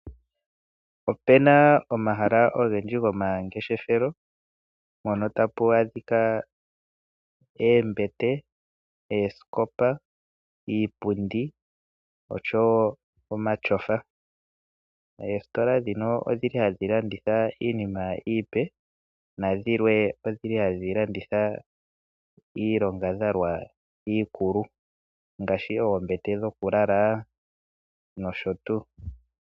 Opena omahala ogendji goma ngeshefelo mpoka tapu adhika cemete, oosikopa, iipundi oshowo omatyofa . Esitola dhino odhili hadhi landitha iinima ipe nadhilwe odhili hadhi landitha iilonga dhalwa iikulu ngaashi wo oombete dhokulala nosho tuu.